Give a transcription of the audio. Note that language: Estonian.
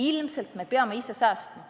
Ilmselt me peame ise säästma.